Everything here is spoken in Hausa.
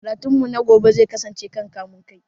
Karatun mu na gobe zai kasance kan kamun kai